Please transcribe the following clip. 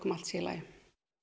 allt sé í lagi